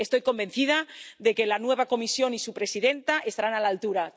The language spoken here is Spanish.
Estoy convencida de que la nueva Comisión y su presidenta estarán a la altura.